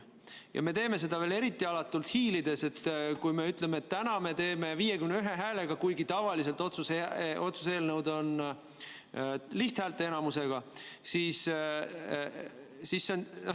Ja me teeme seda veel eriti alatult hiilides, kui me ütleme, et täna me teeme seda 51 häälega, kuigi tavaliselt kehtib otsuse eelnõude puhul lihthäälteenamuse nõue.